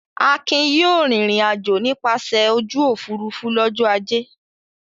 Akin yóò rìnrìn-àjò nípasẹ̀ ojú òfurufú lọ́jọ́ ajé!